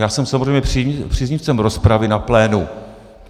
Já jsem samozřejmě příznivcem rozpravy na plénu.